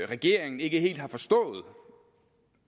regeringen ikke helt har forstået